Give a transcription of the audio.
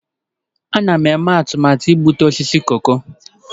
Ana m eme atụmatụ igbutu osisi koko.